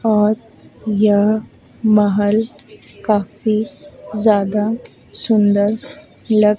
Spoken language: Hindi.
और यह महल काफी ज्यादा सुंदर लग--